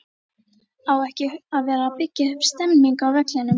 Á ekki að vera að byggja upp stemningu á vellinum??